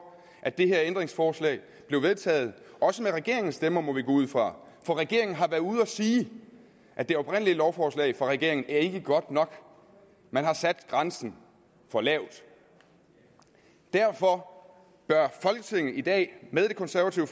at det her ændringsforslag blev vedtaget også med regeringens stemmer må vi gå ud fra for regeringen har været ude at sige at det oprindelige lovforslag fra regeringen ikke er godt nok man har sat grænsen for lavt derfor bør folketinget i dag med det konservative